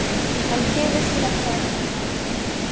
Hann kemur sér ekki að efninu alveg strax.